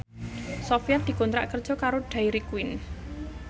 Sofyan dikontrak kerja karo Dairy Queen